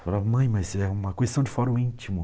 Falava, mãe, mas é uma questão de fórum íntimo.